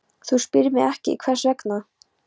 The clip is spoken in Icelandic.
Þú spyrð mig ekki hvers vegna.